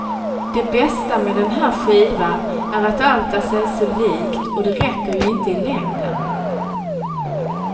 Det bästa med den här skivan är att allt är sig så likt, och det räcker ju inte i längden.